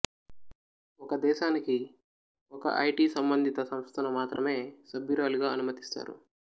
ఒక దేశానికి ఒక ఐటీ సంబంధిత సంస్థను మాత్రమే సభ్యురాలిగా అనుమతిస్తారు